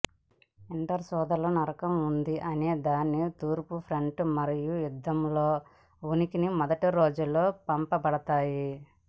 winter సోదరులు నరకం ఉంది అనేదానికి తూర్పు ఫ్రంట్ మరియు యుద్ధంలో ఉనికిని మొదటి రోజుల్లో పంపబడతాయి